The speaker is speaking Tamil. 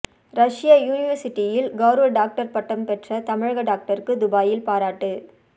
ரஷ்ய யூனிவர்சிட்டியில் கௌரவ டாக்டர் பட்டம் பெற்ற தமிழக டாக்டருக்கு துபாயில் பாராட்டு